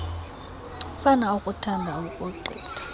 umfana okuthandayo ukogqitha